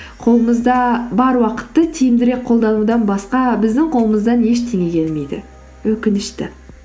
қолымызда бар уақытты тиімдірек қолданудан басқа біздің қолымыздан ештеңе келмейді өкінішті